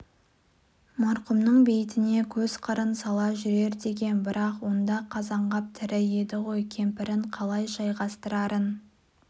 марқұмның бейітіне көз қырын сала жүрер деген бірақ онда қазанғап тірі еді ғой кемпірін қалай жайғастырарын